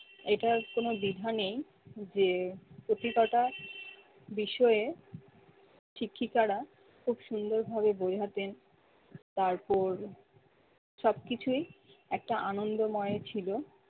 এটার কোন দ্বিধা নেই যে প্রতিটা বিষয়ে শিক্ষিকারা খুব সুন্দর ভাবে বোঝাতেন। তারপর সবকিছুই একটা আনন্দময় ছিল